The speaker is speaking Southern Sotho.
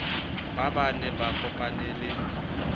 baa ba ne ba kopanele